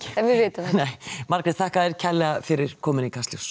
Margrét þakka þér kærlega fyrir komuna í Kastljós